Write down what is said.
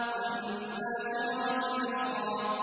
وَالنَّاشِرَاتِ نَشْرًا